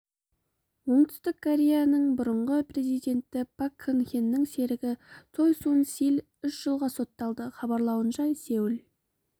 оңтүстік кореяның бұрынғы президенті пак кын хенің серігі цой сун силь үш жылға сотталды хабарлауынша сеул